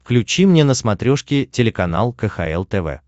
включи мне на смотрешке телеканал кхл тв